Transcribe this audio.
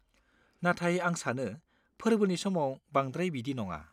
नाथाय आं सानो फोर्बोनि समाव बांद्राय बिदि नङा।